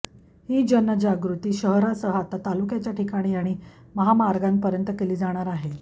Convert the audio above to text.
ही जनजागृती शहरासह आता तालुक्याच्या ठिकाणी आणि महामार्गांपर्यंत केली जाणार आहे